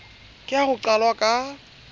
ke ha ho qalwa ka